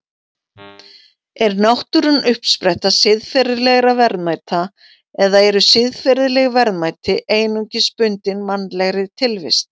Er náttúran uppspretta siðferðilegra verðmæta eða eru siðferðileg verðmæti einungis bundin mannlegri tilvist?